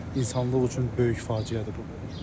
Həqiqətən, insanlıq üçün böyük faciədir bu.